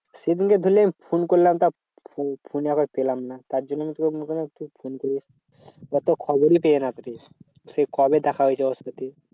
সেদিনকে ধরলে ফোন করলাম তাও ফোন ফোনে আবার পেলাম না। তার জন্য আমি তোকে ওর তো খবরই পেলে না কেউ সেই কবে দেখা হয়েছে ওর সাথে।